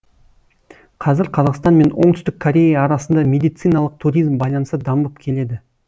қазір қазақстан мен оңтүстік корея арасында медициналық туризм байланысы дамып келеді